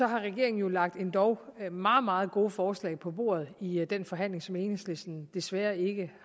har regeringen jo lagt endog meget meget gode forslag på bordet i den forhandling som enhedslisten desværre ikke